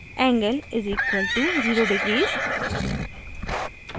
angle = 0 degrees